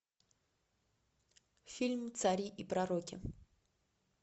фильм цари и пророки